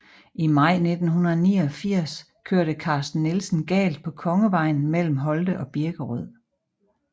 I maj 1989 kørte Carsten Nielsen galt på Kongevejen mellem Holte og Birkerød